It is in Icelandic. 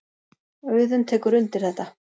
Auðunn tekur undir þetta.